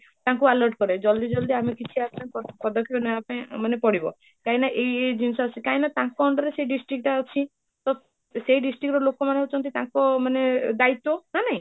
ତାଙ୍କୁ alert କରିବେ ଜଲ୍ଦି ଜଲ୍ଦି ଆମେ କିଛି action ମାନେ କିଛି ପ୍ରଦର୍ଶନ ନବ ପାଇଁ ମାନେ ପଡିବ କାହିଁକି ନା ଏଇ ଏଇ ଜିନିଷ ଟା ଅଛି କାହିଁକି ନା ତାଙ୍କ under ରେ ସେ district ଟା ଅଛି ତ ସେଇ district ର ଲୋକ ମାନେ ହୋଉଛନ୍ତି ମାନେ ତାଙ୍କ ମାନେ ଦ୍ୟତ୍ଵ ନା ନାହିଁ?